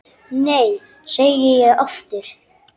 Nei, segi ég aftur.